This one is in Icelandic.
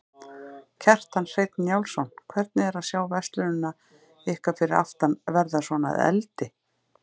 Kjartan Hreinn Njálsson: Hvernig er að sjá verslunina ykkar fyrir aftan verða svona að eldi?